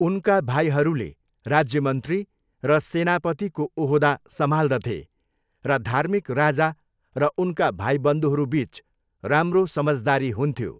उनका भाइहरूले राज्यमन्त्री र सेनापतिको ओहदा सम्हाल्दथे र धार्मीक राजा र उनका भाईबन्धुहरूबिच राम्रो समझदारी हुन्थ्यो।